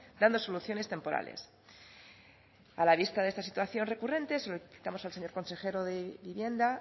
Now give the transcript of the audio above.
dando soluciones temporales a la vista de esta situación recurrente solicitamos al señor consejero de vivienda